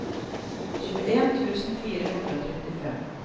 tjueen tusen fire hundre og trettifem